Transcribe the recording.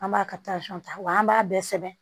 An b'a ka ta wa an b'a bɛɛ sɛbɛn